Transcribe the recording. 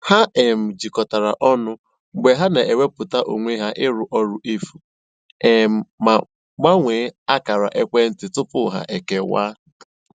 Ha um jikọtara ọnụ mgbe ha na-ewepụta onwe ha ịrụ ọrụ efu, um ma gbanwee akara ekwentị tupu ha ekewa